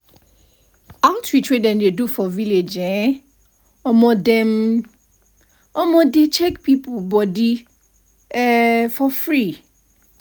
outreach wey dem do for village eh um dem um dey check people body um for for free.